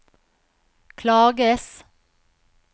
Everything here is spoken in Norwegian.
klages